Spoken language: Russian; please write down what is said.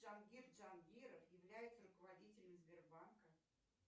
джангир джангиров является руководителем сбербанка